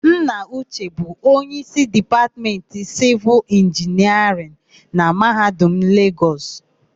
Nna Uche bụ onyeísí Dipatmentị Sịvịl Inginiarịn na Mahadum Legọs.